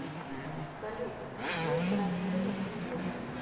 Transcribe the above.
салют диджей тарантино клипы